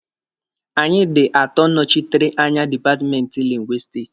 Anyị dị atọ nọchitere anya dipatmenti Lingwisitiki.